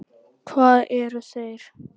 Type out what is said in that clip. Hvað eru þeir?